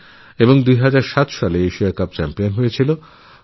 ২০০৭এ Bharat Asia cup champion হয়েছিল